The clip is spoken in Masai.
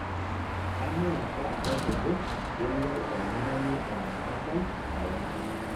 Kang'ai apa otejo kelo olntung'ani ometabai olapa